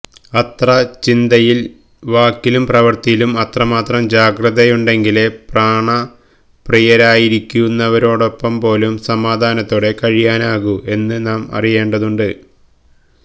അത്ര ചിന്തയിലും വാക്കിലും പ്രവൃത്തിയിലും അത്രമാത്രം ജാഗ്രതയുണ്ടെങ്കിലേ പ്രാണപ്രിയരായിരിക്കുന്നവരോടൊപ്പംപോലും സമാധാനത്തോടെ കഴിയാനാകൂ എന്നു നാം അറിയേണ്ടതുണ്ട്